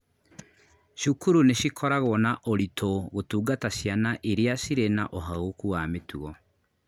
Cukuru nĩcikoragwo na ũritũ gũtungata ciana iria cirĩ na ũhagũku wa mĩtugo